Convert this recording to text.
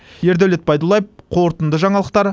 ердәулет байдуллаев қорытынды жаңалықтар